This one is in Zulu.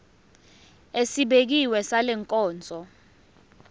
esibekiwe sale nkonzo